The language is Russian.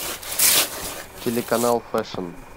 телеканал фэшн